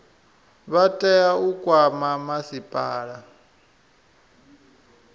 vha tea u kwama masipala